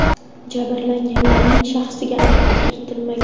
Jabrlanganlarning shaxsiga aniqlik kiritilmagan.